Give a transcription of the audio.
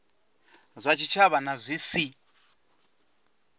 zwa tshitshavha na zwi si